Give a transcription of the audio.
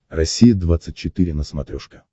россия двадцать четыре на смотрешке